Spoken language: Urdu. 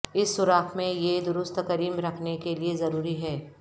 اس سوراخ میں یہ درست کریم رکھنے کے لئے ضروری ہے